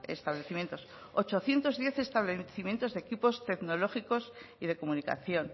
establecimientos ochocientos diez establecimientos de equipos tecnológicos y de comunicación